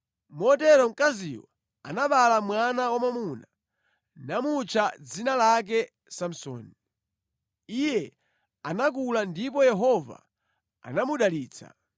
Motero mkaziyo anabereka mwana wa mwamuna, namutcha dzina lake Samsoni. Iye anakula ndipo Yehova anamudalitsa.